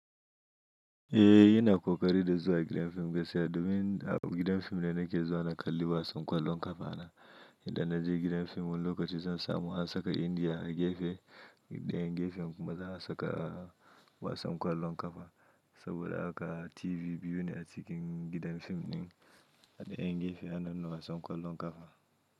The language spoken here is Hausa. Eh, yana ƙoƙari da zuwa gidan fim, gaskiya domin a gidan fim da na ke zuwa na kalli wasan ƙwallon ƙafa ana. Idan na je gidan fim wani lokaci zan samu a saka Indiya a gefe ɗayan gefe kuma za a saka wasan ƙwallon ƙafa. Saboda haka TV biyu ne a cikin gidan fim ɗin dayan gefe ana nuna wasan ƙwallon ƙafa.